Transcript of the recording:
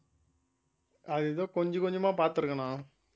அது ஏதோ கொஞ்சம் கொஞ்சமா பார்த்திருக்கேண்ணா